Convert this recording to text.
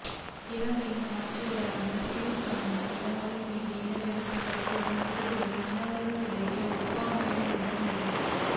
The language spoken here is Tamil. இலங்கையின் ஆட்சியாளர்கள் சிறுபான்மை இனங்களின் மீது இன வெறுப்பைக் கக்குவதை நிறுத்துவதே இனங்களிற்கிடையேயான ஒற்றுமைக்கான முதல் நிபந்தனை